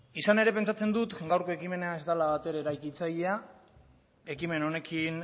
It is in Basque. izan ere pentsatzen dut gaurko ekimena ez dela bat ere eraikitzailea ekimen honekin